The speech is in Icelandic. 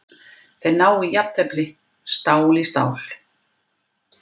Þeir ná í jafntefli, stál í stál.